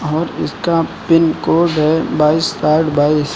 और इसका पिनकोड है बाइस साठ बाइस।